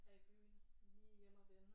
Tage i byen lige hjem og vende